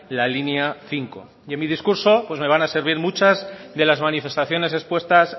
la línea cinco y en mi discurso pues me van a servir muchas de las manifestaciones expuestas